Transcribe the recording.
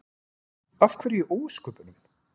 Af hverju í ósköpunum?